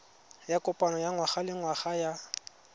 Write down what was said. ya kopano ya ngwagalengwaga ya